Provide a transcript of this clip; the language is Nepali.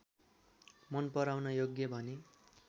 मन पराउन योग्य भने